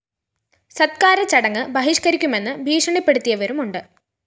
സത്കാര ചടങ്ങ് ബഹിഷ്‌കരിക്കുമെന്നു ഭീഷണിപ്പെടുത്തിയവരുമുണ്ട്